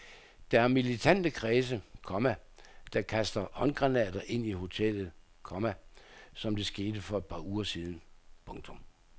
Der er militante kredse, komma der kaster håndgranater ind i hoteller, komma som det skete for et par uger siden. punktum